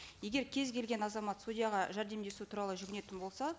егер кез келген азамат судьяға жәрдемдесу туралы жүгінетін болса